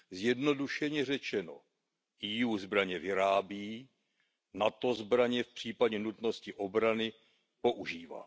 Zjednodušeně řečeno, EU zbraně vyrábí, NATO zbraně v případě nutnosti obrany používá.